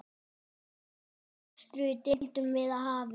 Þeirri ástríðu deildum við afi.